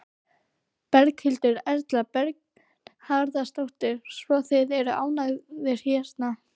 Berghildur Erla Bernharðsdóttur: Svo þið eru ánægðir hérna?